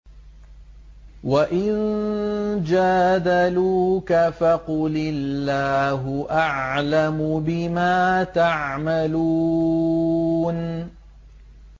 وَإِن جَادَلُوكَ فَقُلِ اللَّهُ أَعْلَمُ بِمَا تَعْمَلُونَ